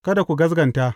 Kada ku gaskata.